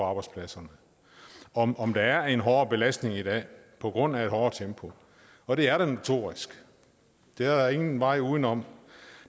arbejdspladserne om om der er en hårdere belastning i dag på grund af et hårdere tempo og det er der notorisk der er ingen vej udenom